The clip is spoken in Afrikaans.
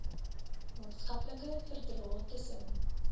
maatskaplike verdrae tussen